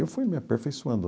Eu fui me aperfeiçoando.